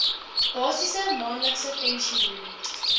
basiese maandelikse pensioen